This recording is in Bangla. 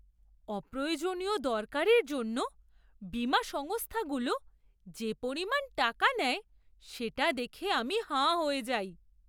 অপ্রয়োজনীয় দরকারের জন্য বীমা সংস্থাগুলো যে পরিমাণ টাকা নেয় সেটা দেখে আমি হাঁ হয়ে যাই!